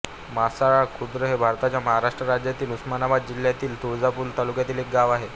मासळा खुर्द हे भारताच्या महाराष्ट्र राज्यातील उस्मानाबाद जिल्ह्यातील तुळजापूर तालुक्यातील एक गाव आहे